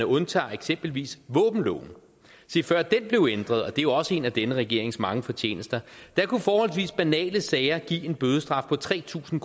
undtager eksempelvis våbenloven før den blev ændret og det er jo også en af denne regerings mange fortjenester kunne forholdsvis banale sager give en bødestraf på tre tusind